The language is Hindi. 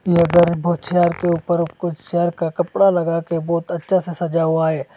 के उपर कुछ चेयर का कपड़ा लगा के बहोत अच्छा से सजा हुआ है।